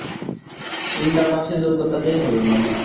Inter pass এর যোগ্যতা দিয়ে হবে মনে হয়